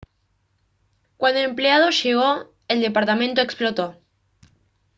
cuando el empleado llegó el departamento explotó